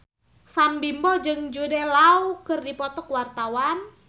Sam Bimbo jeung Jude Law keur dipoto ku wartawan